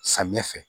Samiyɛ fɛ